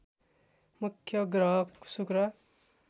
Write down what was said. मुख्य ग्रह शुक्र